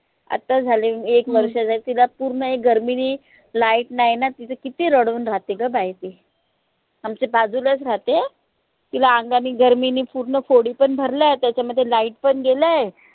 आता झाली एक वर्षची आहे तिला पूर्ण हे गर्मीनी light नाही न तीत किती रडून राहते ग बाई ती आमच्या बाजूलाच राहते तिला अंगानी गर्मीनी पूर्ण फोडी पन भरल्या त्याच्यामध्ये light पन गेलंय